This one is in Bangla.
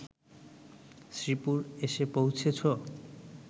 শ্রীপুর এসে পৌঁছেছ